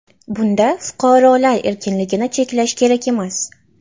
Bunda fuqarolar erkinliklarini cheklash kerak emas”.